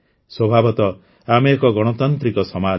ସ୍ୱଭାବତଃ ଆମେ ଏକ ଗଣତାନ୍ତ୍ରିକ ସମାଜ